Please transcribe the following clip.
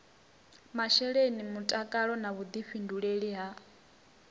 masheleni mutakalo na vhuḓifhinduleli ha